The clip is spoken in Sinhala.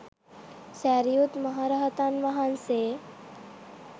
සැරියුත් මහරහතන් වහන්සේ